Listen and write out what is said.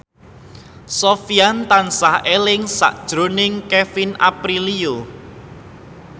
Sofyan tansah eling sakjroning Kevin Aprilio